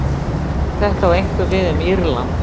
Þetta á einkum við um Írland.